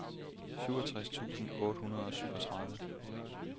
syvogtres tusind otte hundrede og syvogtredive